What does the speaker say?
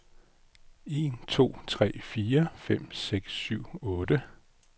Tester en to tre fire fem seks syv otte.